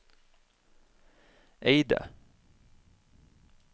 Eide